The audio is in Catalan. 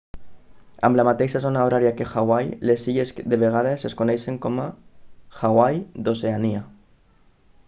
amb la mateixa zona horària que hawaii les illes de vegades es coneixen com hawaii d'oceania